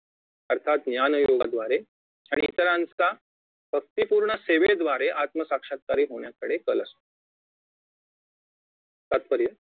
अर्थात ज्ञानयोगांद्वारे आणि इतरांच्या भक्तिपूर्ण सेवेद्वारे आत्मसाक्षात्कारी होण्याकडे कल असतो तात्पर्य